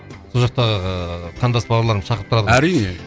сол жақта ыыы қандас бауырларың шақырып тұрады ғой әрине